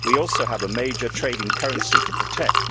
we also have a major trading currency to protect.